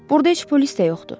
Burda heç polis də yoxdur.